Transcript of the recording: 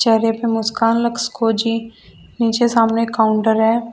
चेहरे पे मुस्कान लक्स कोज़ी नीचे सामने एक काउंटर है।